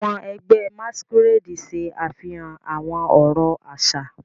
Àwọn ẹgbẹ́ Masquerade ṣe àfihàn àwọn ọ̀rọ̀ àṣà.